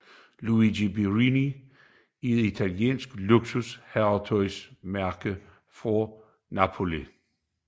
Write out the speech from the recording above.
Luigi Borrelli er et italiensk luksus herretøjsmærke fra Napoli